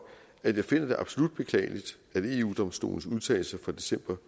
at jeg finder det absolut beklageligt at eu domstolens udtalelser fra december